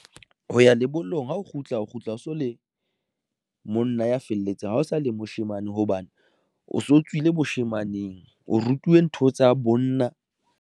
Ho ya lebollong ha o kgutla, o kgutla, o so le monna ya felletseng ha o sa le moshemane hobane o so tswile bashemaneng, o rutuwe ntho tsa bonna.